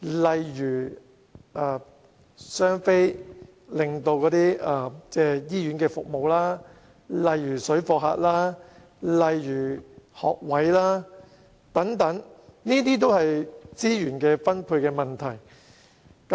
例如"雙非"對醫院服務造成影響、水貨客、學位短缺，這些都是資源分配引起的問題。